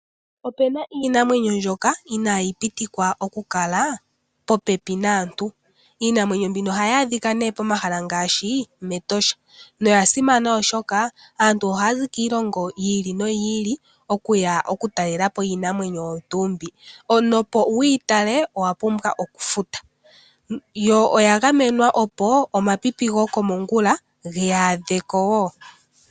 Opuna iinamwenyo mbyoka inaayi pitikwa oku kala po pepi naantu. Iinamwenyo mbino ohayi adhika nee pomahala ngaashi Etosha. Iinamwenyo mbino oya simana oshoka aantu ohaya zi kiilongo yi ili noyi ili okuya oku talela po iinamwenyo mbi. Omuntu opo wuyi tale owa pumbwa okufuta. Iinamwenyo mbino oya gamenwa opo omapipi gomo ongula ge yaadhe ko wo